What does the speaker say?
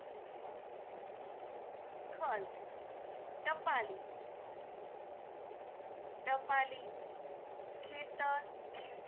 ખલ ટપાલી ટપાલી ખેતર